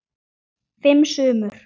Fimm sumur